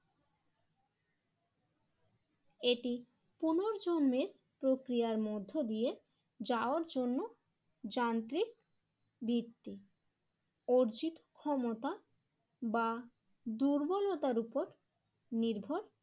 এটি পুনর্জন্মের প্রক্রিয়ার মধ্য দিয়ে যাওয়ার জন্য যান্ত্রিক বৃত্তি অর্জিত ক্ষমতা বা দুর্বলতার উপর নির্ভর